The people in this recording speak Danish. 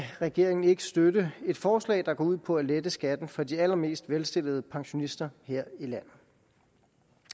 regeringen ikke støtte et forslag der går ud på at lette skatten for de allermest velstillede pensionister her i landet